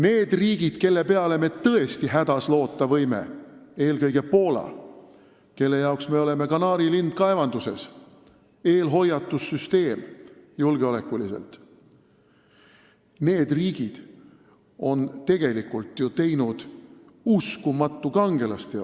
Need riigid, kelle peale me hädas tõesti loota võime – eelkõige Poola, kelle jaoks me oleme kanaarilind kaevanduses, julgeoleku mõttes eelhoiatussüsteem –, on tegelikult teinud uskumatu kangelasteo.